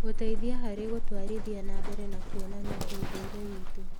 gũteithia harĩ gũtwarithia na mbere na kuonania ũndũire witũ.